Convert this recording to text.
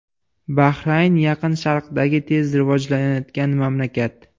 Bahrayn Yaqin Sharqdagi tez rivojlanayotgan mamlakat.